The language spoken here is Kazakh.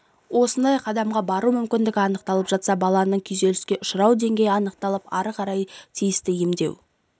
осындай қадамға бару мүмкіндігі анықталып жатса баланын күйзеліске ұшырау денгейі анықталып ары қарай тиісті емдеу